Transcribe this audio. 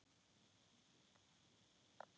Bíður færis.